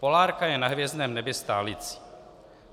Polárka je na hvězdném nebi stálicí.